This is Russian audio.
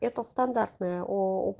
это стандартная ооо